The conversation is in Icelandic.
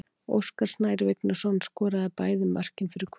Óskar Snær Vignisson skoraði bæði mörkin fyrir Hvöt.